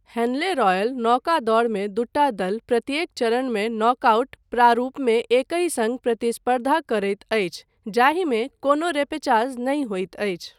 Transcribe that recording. Henley royal नौकादौड़मे दूटा दल प्रत्येक चरणमे नॉकआउट प्रारूपमे एकहि सङ्ग प्रतिस्पर्धा करैत अछि जाहिमे कोनो रेपेचाज नहि होइत अछि।